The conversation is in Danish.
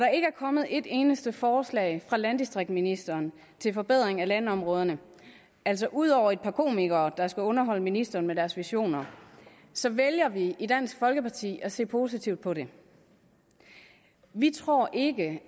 kommet et eneste forslag fra landdistriktsministeren til forbedring af landområderne altså ud over et par komikere der skal underholde ministeren med deres visioner så vælger vi i dansk folkeparti at se positivt på det vi tror ikke